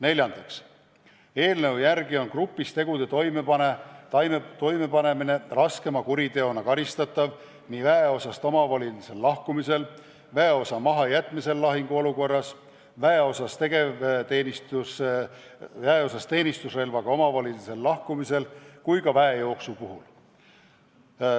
Neljandaks, eelnõu järgi on grupis tegude toimepanemine raskema kuriteona karistatav nii väeosast omavolilisel lahkumisel, väeosa mahajätmisel lahinguolukorras, väeosast teenistusrelvaga omavolilisel lahkumisel kui ka väejooksu puhul.